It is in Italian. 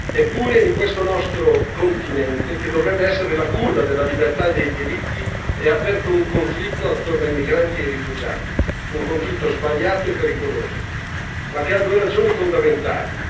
Eppure in questo nostro continente, che dovrebbe essere la culla della libertà e dei diritti, è aperto un conflitto attorno ai migranti e ai rifugiati, un conflitto sbagliato e pericoloso, ma che ha due ragioni fondamentali.